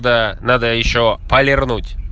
да надо ещё полернуть